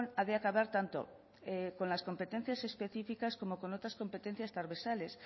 ha de acabar tanto con las competencias específicas como con otras competencias transversales